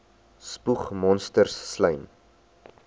spoeg monsters slym